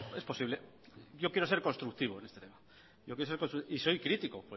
es posible yo quiero ser constructivo en este tema y soy crítico